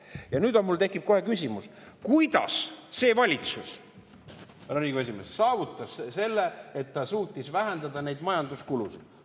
Ja nüüd mul tekib kohe küsimus, kuidas see valitsus, härra Riigikogu esimees, saavutas selle, et ta suutis vähendada neid majanduskulusid.